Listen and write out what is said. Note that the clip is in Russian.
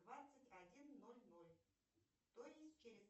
двадцать один ноль ноль то есть через